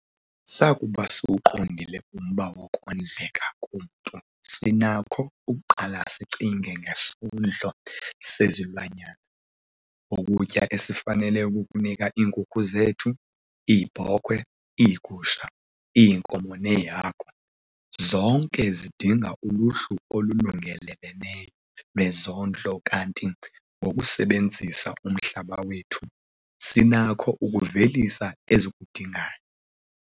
Sakuba siwuqondile umba wokondleka komntu sinakho ukuqala sicinge ngesondlo sezilwanyana - ukutya esifanele ukukunika iinkukhu zethu, iibhokhwe, iigusha, iinkomo neehagu. Zonke zidinga uluhlu olulungeleleneyo lwezondlo kanti ngokusebenzisa umhlaba wethu, sinakho ukuvelisa ezikudingayo.